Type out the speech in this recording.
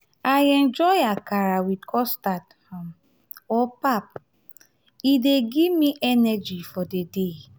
i enjoy akara with custard um or pap; um e dey give me energy for the day.